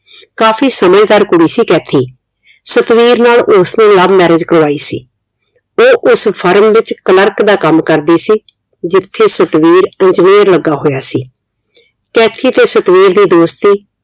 ਕਾਫੀ ਸਮਝਦਾਰ ਕੁੜੀ ਸੀ ਕੈਥੀ। ਸਤਵੀਰ ਨਾਲ ਉਸਨੇ love marriage ਕਰਵਾਈ ਸੀ। ਉਹ ਉਸ firm ਵਿਚ clerk ਦਾ ਕਾਮ ਕਰਦੀ ਸੀ ਜਿਥੇ ਸਤਵੀਰ engineer ਲਗਾ ਹੋਇਆ ਸੀ। ਕੈਥੀ ਤੇ ਸਤਵੀਰ ਦੀ ਦੋਸਤੀ